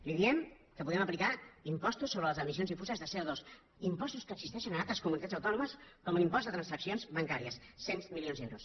li diem que podem aplicar impostos sobre les emissions difuses de copostos que existeixen a altres comunitats autònomes com l’impost de transaccions bancàries cent milions d’euros